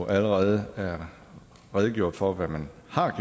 allerede redegjort for hvad man